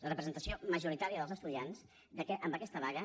la representació majoritària dels estudiants en aquesta vaga